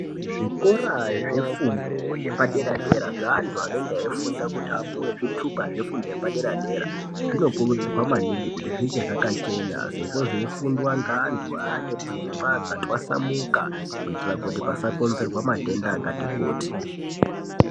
Zvikora zvefundo yepadera dera zveantu anenga eifunda kuti apuwe zvitupa zvefundo yepadera dera zvinokurudzirwa maningi kuti zvinge zvakachena sezvo zveifundwa ngevantu aane pfungwa dzatwasamuka kuitira kuti pasakonzerwa matenda akati kuti.